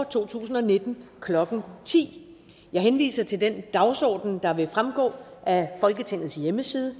to tusind og nitten klokken ti jeg henviser til den dagsorden der vil fremgå af folketingets hjemmeside